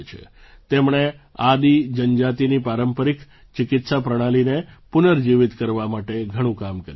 તેમણે આદિ જનજાતિની પારંપરિક ચિકિત્સા પ્રણાલિને પુનર્જીવિત કરવા માટે ઘણું કામ કર્યું છે